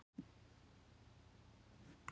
Fegin að þurfa ekki að hlusta lengur á foreldra hans.